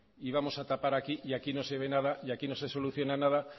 y vamos a tapar aquí y aquí no se ve nada y aquí no se soluciona nada